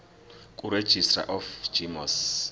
kuregistrar of gmos